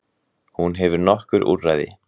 Hún hefur nokkur úrræði.